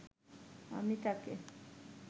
আমি তাকে